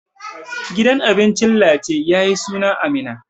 Gidan abincin Lace ya yi suna a Minna.